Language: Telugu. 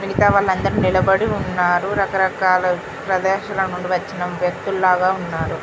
మిగతావాలందరు నిలబడి ఉన్నారు రకరకాల ప్రదేశంనుండి వచ్చిన వ్యక్తిలులాగా ఉన్నారు